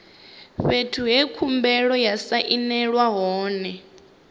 fhethu he khumbelo ya sainelwa hone